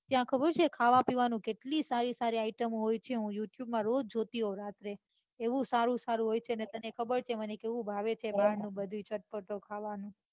ત્યાં ખબર છે ખાવાપીવાની કેટલી સારી સારી item હોય છે હું youtube માં રોજ જોતી હોઉં રાત્રે એવું સારું સારું હોય છે ને તને ખબર છે મને કેવું ભાવે બારણું બધુંય ચટપટું ખાવાનું